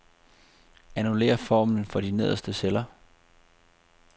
Annullér formlen for de nederste celler.